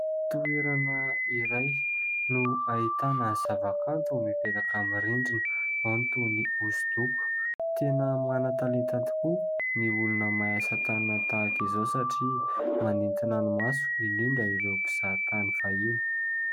Toerana iray no ahitana zavakanto mipetaka amin'ny rindrina ao ny toa ny hosodoko, tena mana-talenta tokoa ny olona mahay asa tanana tahaka izao satria manintona ny maso, indrindra ireo mpizahatany fahiny.